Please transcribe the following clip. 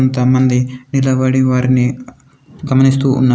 కొంతమంది నిలబడి వారిని గమనిస్తూ ఉన్నారు.